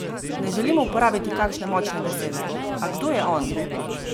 Ne želim uporabiti kakšne močne besede, a kdo je on?